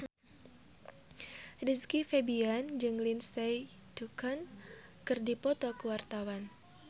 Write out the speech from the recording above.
Rizky Febian jeung Lindsay Ducan keur dipoto ku wartawan